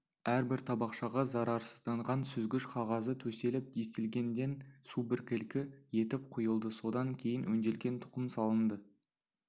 әрбір табақшаға зарарсызданған сүзгіш қағазы төселіп дистилденген су біркелкі етіп құйылды содан кейін өңделген тұқым салынды